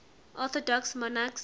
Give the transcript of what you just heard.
orthodox monarchs